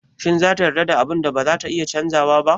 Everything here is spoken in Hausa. Shin za ta yarda da abun da bazata iya canzawa ba?